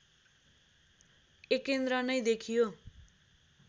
एकेन्द्र नै देखियो